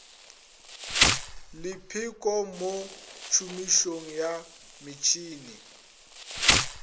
lepheko mo tšhomišong ya metšhene